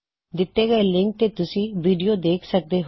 ਦਿੱਤੇ ਹੋਏ ਲਿੰਕ ਤੇ ਤੁਸੀਂ ਵੀਡਿਓ ਦੇਖ ਸਕਦੇ ਹੋ